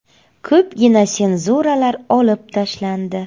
Ko‘pgina senzuralar olib tashlandi.